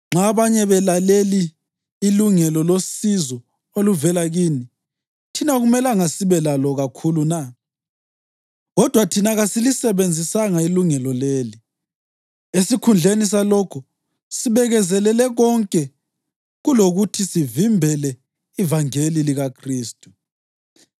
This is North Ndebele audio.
Nxa abanye belaleli ilungelo losizo oluvela kini, thina akumelanga sibe lalo kakhulu na? Kodwa thina kasilisebenzisanga ilungelo leli. Esikhundleni salokho sibekezelele konke kulokuthi sivimbele ivangeli likaKhristu.